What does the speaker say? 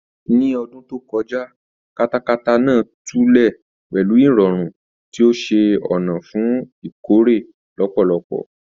Ní ọdún tó kọjá, katakara náà tulẹ̀ pẹlú ìrọ̀rùn, tí ó ṣe ọ̀nà fún ìkórè lọ́pọ̀lọpọ̀.